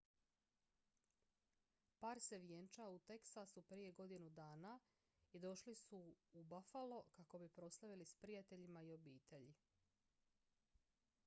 par se vjenčao u teksasu prije godinu dana i došli su u buffalo kako bi proslavili s prijateljima i obitelji